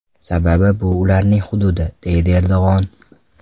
Sababi bu ularning hududi”, deydi Erdo‘g‘on.